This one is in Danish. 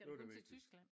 Det var det vigtigste